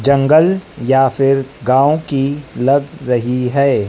जंगल या फिर गांव की लग रही है।